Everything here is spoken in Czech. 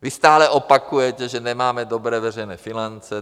Vy stále opakujete, že nemáme dobré veřejné finance.